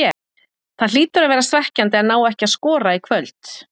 Það hlýtur að vera svekkjandi að ná ekki að skora í kvöld?